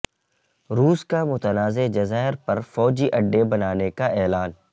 روس کا متنازع جزائر پر فوجی اڈے بنانے کا اعلان